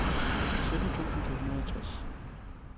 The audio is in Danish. sytten tusind to hundrede og tres